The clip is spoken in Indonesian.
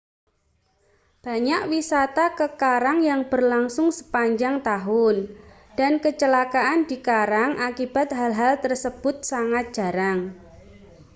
banyak wisata ke karang yang berlangsung sepanjang tahun dan kecelakaan di karang akibat hal-hal tersebut sangat jarang